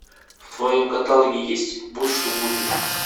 в твоем каталоге есть будь что будет